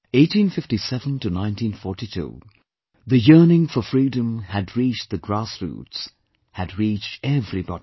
1857 to 1942 the yearning for freedom had reached the grassroots, had reached everybody